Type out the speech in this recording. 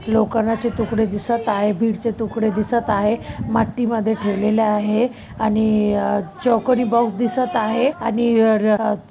लोखंडाचे तुकडे दिसत आहे बीड चे तुकडे दिसत आहे मट्टी मध्ये ठेवलेले आहे आणि अ अ अ चौकोनी बॉक्स दिसत आहे आणि अ र--